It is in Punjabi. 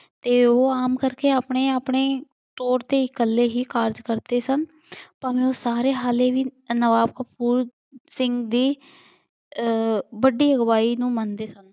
ਤੇ ਉਹ ਉਹ ਆਮ ਕਰਕੇ ਆਪਣੇ ਆਪਣੇ ਤੌੜ ਤੇ ਇਕੱਲੇ ਹੀ ਕਾਰਜ ਕਰਦੇ ਸਨ ਭਾਵੇਂ ਉਹ ਸਾਰੇ ਹਾਲੇ ਵੀ ਸਿੰਘ ਦੀ ਅਹ ਵੱਡੀ ਅਗਵਾਈ ਨੂੰ ਮੰਨਦੇ ਸਨ।